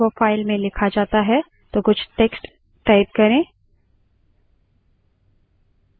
अब हम अगर enter दबाते हैं तो command उपयोगकर्ता से निवेश यानि input के लिए इंतज़ार करता है